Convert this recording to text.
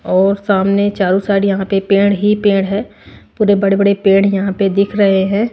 और सामने चारों साइड यहां पे पेड़ ही पेड़ है पूरे बड़े-बड़े पेड़ यहां पे दिख रहे है।